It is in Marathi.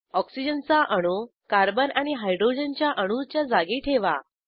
ऑक्सिजन चा अणू कार्बन आणि हायड्रोजनच्या अणूच्या जागी ठेवा